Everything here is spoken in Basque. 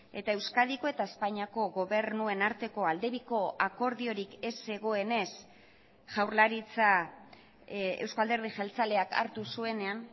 eta euskadiko eta espainiako gobernuen arteko aldebiko akordiorik ez zegoenez jaurlaritza eusko alderdi jeltzaleak hartu zuenean